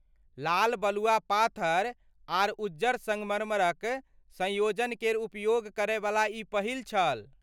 लाल बलुआ पाथर आर उज्जर संगमरमरक संयोजन केर उपयोग करैवला ई पहिल छल।